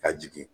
Ka jigin